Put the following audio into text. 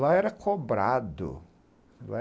Lá era cobrado.